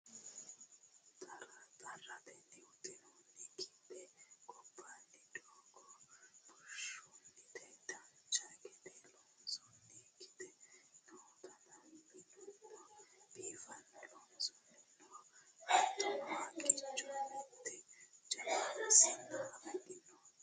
xarratenni huxxinooni gibbe gobbaanni doogo bushshunniti dancha gede loosantinokkiti nootanna minuno biifinse loonsoonnihu no hattono haqqicho mitte jawa sinna afidhinoti no